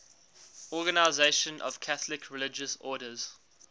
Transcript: organisation of catholic religious orders